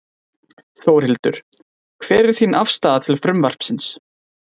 Þórhildur: Hver er þín afstaða til frumvarpsins?